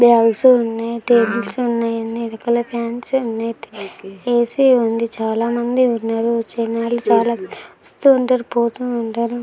Fans ఉన్నాయి tables ఉన్నాయి ఎనకాల ఫాన్స్ ఉన్నాయి ఏ.సీ. ఉంది చాలా మంది ఉన్నారు చాలా మంది వస్తూ ఉంటారు పోతు ఉంటారు.